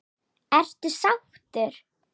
Ertu sáttur?